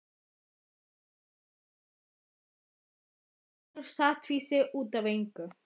Úlfar biður forláts, fullur sáttfýsi út af engu.